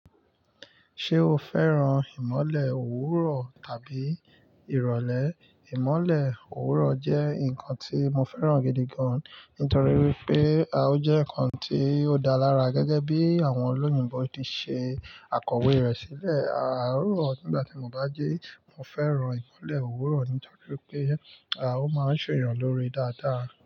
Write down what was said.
Ṣé o fẹ́ràn ìmọ̀le òwúrọ̀ tàbí irọ̀lẹ́? Ìmọ̀le òwúrọ̀ jẹ́ nǹkan tí mo fẹ́ràn gidi gan, nítorí pé ó jẹ́ nǹkan tí ó dáa lára gẹ́gẹ́ bí àwọn olóyìnbo ti ṣe à kọ̀wé rẹ̀ sílẹ̀. Àárọ̀ nígbà tí mo bá jí, mo fẹ́ràn ìmọ̀le òwúrọ̀ nítorí pé ó máa ń ṣ’èèyàn lóore dáadáa.